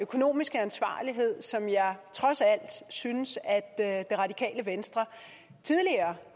økonomiske ansvarlighed som jeg trods alt synes det radikale venstre tidligere